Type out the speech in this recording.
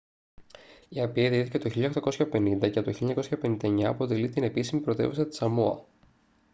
η απία ιδρύθηκε το 1850 και από το 1959 αποτελεί την επίσημη πρωτεύουσα της σαμόα